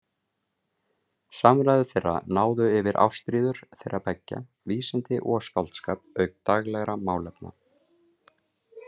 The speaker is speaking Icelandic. Samræður þeirra náðu yfir ástríður þeirra beggja, vísindi og skáldskap auk daglegra málefna.